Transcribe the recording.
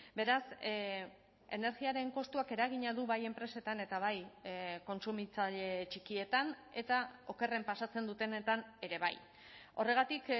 beraz energiaren kostuak eragina du bai enpresetan eta bai kontsumitzaile txikietan eta okerren pasatzen dutenetan ere bai horregatik